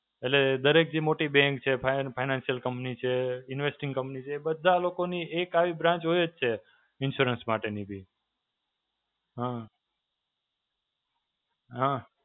એટલે દરેક જે મોટી bank છે, Fine Financial Company છે, Investing Company છે એ બધાં લોકોની એક આવી branch હોય જ છે. insurance માટેની બી. હાં. હાં.